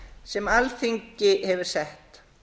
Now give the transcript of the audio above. sem alþingi hefur sett